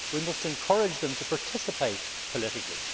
We must encourage them to participate politically.